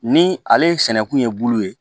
Ni ale sɛnɛkun ye bulu ye